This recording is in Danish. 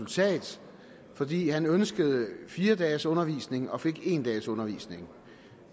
resultat fordi han ønskede fire dages undervisning og fik en dags undervisning